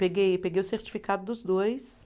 Peguei, peguei o certificado dos dois.